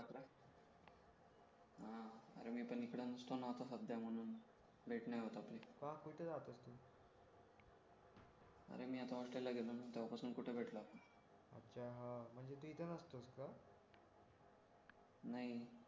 अरे मी पण इकडे नको ना आता सध्या म्हणून भेट नाही होत आपली का कुठे राहतोस तू अरे मी आता होस्टेलला गेलो ना तेव्हापासून कुठे भेटलो आपण अच्छा हा म्हणजे तू इथं नसतोस का नाही